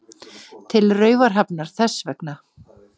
Til Raufarhafnar þess vegna.